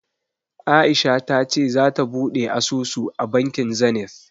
A'isha ta ce zata buɗe asusu a bankin Zenith.